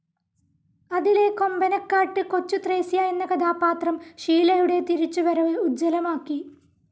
അതിലെ കൊമ്പനക്കാട്ട്‌ കൊച്ചുത്രേസ്യ എന്ന കഥാപാത്രം ഷീലയുടെ തിരിച്ചുവരവ്‌ ഉജ്ജ്വലമാക്കി.